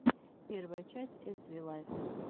первая часть эс ви лайф